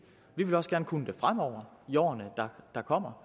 vi vil også gerne kunne gøre det fremover i årene der kommer